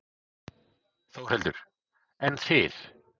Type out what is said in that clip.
Þórhildur: En þið?